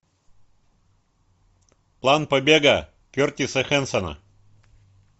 план побега кертиса хэнсона